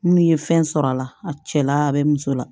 N'u ye fɛn sɔrɔ a la a cɛla bɛ muso la